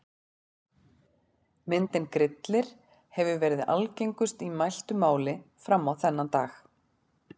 Myndin Grillir hefur verið algengust í mæltu máli fram á þennan dag.